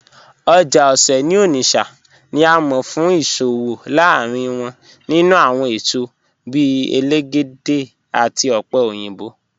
Oja Ose ni Onitsha ni à mọ̀ fún iṣowo lárínrín wọn nínú awọn èṣọ bíì èlégédè àti ọpẹ̀ oyinbọ̀.